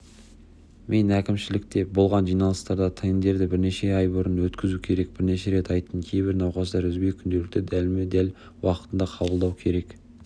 мен әкімшілікте болған жиналыстарда тендерді бірнеше ай бұрын өткізу керек бірнеше рет айттым кейбір науқастар үзбей күнделікті дәлме-дәл уақытында қабылдау керек